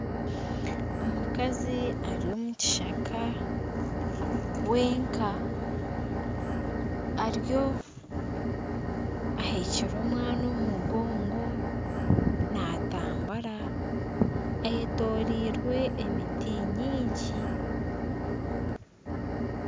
Omukazi ari omu kishaka wenka. Ariyo aheekire omwana omu mugongo naatambura ayetoroirwe emiti mingi